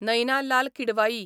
Naina Lal Kidwai